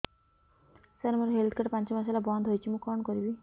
ସାର ମୋର health card ପାଞ୍ଚ ମାସ ହେଲା ବଂଦ ହୋଇଛି ମୁଁ କଣ କରିବି